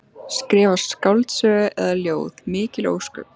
Skrifa skáldsögu eða ljóð, mikil ósköp.